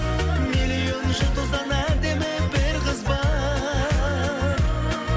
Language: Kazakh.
миллион жұлдыздан әдемі бір қыз бар